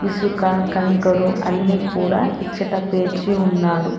ఇసుక కంకరు అన్ని కూడా ఇచ్చుట పేర్చి ఉన్నారు.